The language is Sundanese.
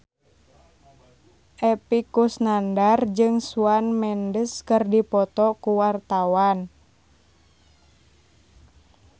Epy Kusnandar jeung Shawn Mendes keur dipoto ku wartawan